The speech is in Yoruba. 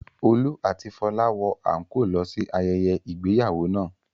Olú àti Fọlá wọ àńkóò lọ sí ayẹyẹ ìgbéyàwó náà.